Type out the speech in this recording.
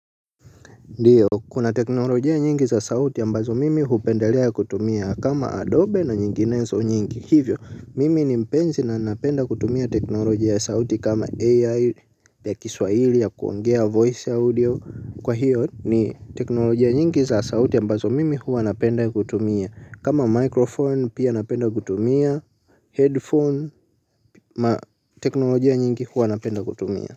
Ndiyo kuna teknolojia nyingi za sauti ambazo mimi hupendelea ya kutumia kama adobe na nyinginezo nyingi hivyo mimi mpenzi na napenda kutumia teknolojia ya sauti kama AI ya kiswaili ya kuongea voice audio kwa hiyo ni teknolojia nyingi za sauti ambazo mimi huwa napenda kutumia kama microphone pia napenda kutumia headphone na teknolojia nyingi huwa napenda kutumia.